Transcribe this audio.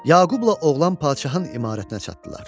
Yaqubla oğlan padşahın imarətinə çatdılar.